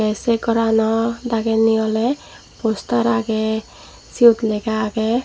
ey sey gorano dagedi oley poster agey siyot lega agey.